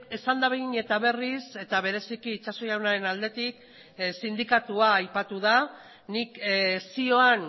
esan da behin eta berriz eta bereziki itxaso jaunaren aldetik sindikatua aipatu da nik zioan